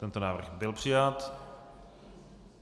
Tento návrh byl přijat.